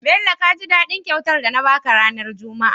Bello kaji dadin kyautar da na baka ranar juma a?